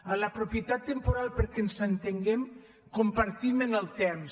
en la propietat temporal perquè ens entenguem compartim en el temps